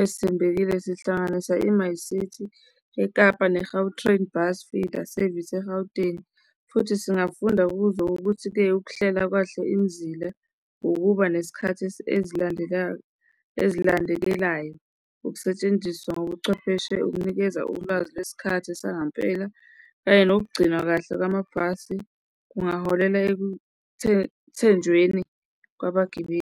ezithembekile zihlanganisa i-MyCiti eKapa ne-Gautrain, Bus Feeder Service eGauteng futhi singafunda kuzo ngokuthi-ke ukuhlela kahle imizila, ukuba nesikhathi ezilandekayo, ezilandekelayo, ukusetshenziswa ngobuchwepheshe, ukunikeza ulwazi kwesikhathi sangampela kanye nokugcinwa kahle kwamabhasi kungaholela ekuthenjweni kwabagibeli.